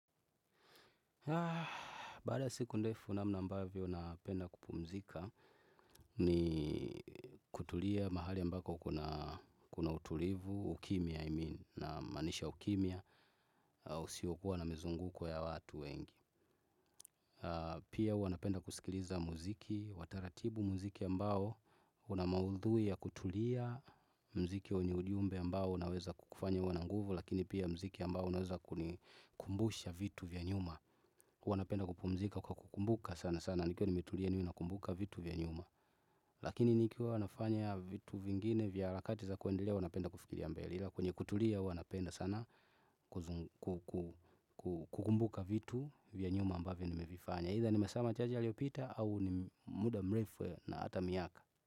Baada ya siku ndefu namna ambavyo napenda kupumzika ni kutulia mahali ambako kuna utulivu, ukimya namaanisha ukimya, usiokua na mizunguko ya watu wengi. Pia huwa napenda kusikiliza muziki wa taratibu muziki ambao una maudhui ya kutulia muziki wenye ujumbe ambao unaweza kukufanya uwe na nguvu, lakini pia muziki ambao unaweza kuni kumbusha vitu vya nyuma. Wanapenda kupumzika kwa kukumbuka sana sana. Nikiwa nimetulia niwe nakumbuka vitu vya nyuma. Lakini nikiwa nafanya vitu vingine vya harakati za kuendelea huwa napenda kufikilia mbele ila kwenye kutulia huwa napenda sana kukumbuka vitu vya nyuma ambavyo nimevifanya Either nimesema chaji aliopita au ni muda mrefe na ata miaka.